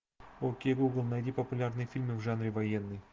окей гугл найди популярные фильмы в жанре военный